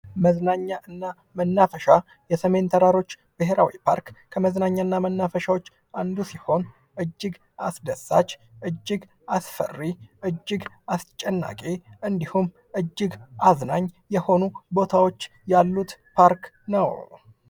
መዝናኛና መናፈሻ የሰሜን ተራሮች ብሔራዊ ፓርክ ከመዝናኛና መናፈሻወች አንዱ ሲሆን እጅግ አስደሳች፣ እጅግ አስፈሪ፣ እጅግ አስጨናቂ እንዲሁም እጅግ አዝናኝ የሆኑ ቦታዎች ያሉት ፓርክ ነው።